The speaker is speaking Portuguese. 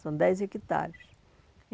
São dez hectares.